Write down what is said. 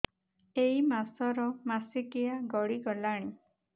ଏଇ ମାସ ର ମାସିକିଆ ଗଡି ଗଲାଣି